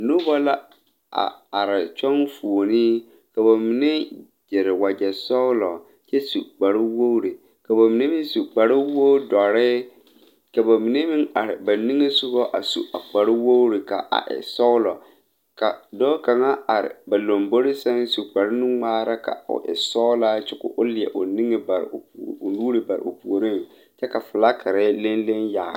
Nobɔ la a are kyɔŋ fuolee ka ba mine gyire wagyɛ sɔglɔ kyɛ su kparewogre ka ba mine meŋ su kparewogdɔre ka ba mine meŋ are ba niŋesugɔ a su a kpare wogre ka e sɔglɔ ka dɔɔ kaŋa are ba lombore sɛŋ su kparwnungmaara ka o e sɔglaa kyɛ ko o leɛ o niŋe bare o nuure bare o puoriŋ kyɛ ka flakire leŋ leŋ yagle.